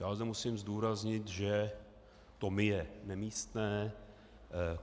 Já zde musím zdůraznit, že to my je nemístné.